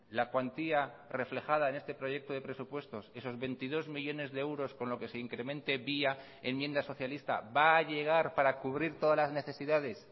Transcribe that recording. la cuantía reflejada en este proyecto de presupuestos esos veintidós millónes de euros con lo que se incremente vía enmienda socialista va a llegar para cubrir todas las necesidades